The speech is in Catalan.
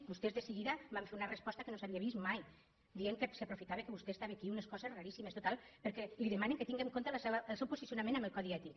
vostès de seguida van fer una resposta que no s’havia vist mai dient que s’aprofitava que vostè estava aquí unes coses raríssimes total perquè li de·manen que tinga en compte el seu posicionament en el codi ètic